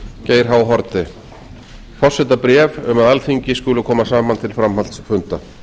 geir h haarde forsetabréf um að alþingi skuli koma saman til framhaldsfunda